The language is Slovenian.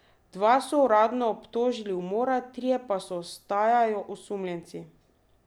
Dva so uradno obtožili umora, trije pa ostajajo osumljenci.